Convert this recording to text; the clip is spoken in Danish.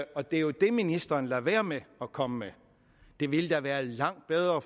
og det er jo det ministeren lader være med at komme med det ville da være langt bedre